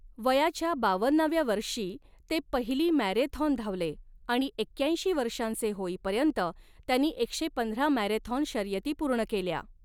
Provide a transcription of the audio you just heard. वयाच्या बावन्नाव्या वर्षी ते पहिली मॅरेथॉन धावले आणि एक्याऐंशी वर्षांचे होईपर्यंत त्यांनी एकशे पंधरा मॅरेथॉन शर्यती पूर्ण केल्या.